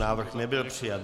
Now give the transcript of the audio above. Návrh nebyl přijat.